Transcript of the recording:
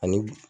Ani